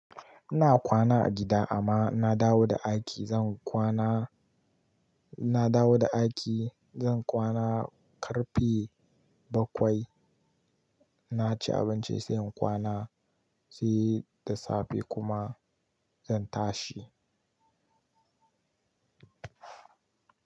Ina kwana a gida amma na dawo da aiki zan kwana. Na dawo da aiki zan kwana ƙarfe bakwai. Na ci abinci sai in kwana, sai da safe kuma zan tashi.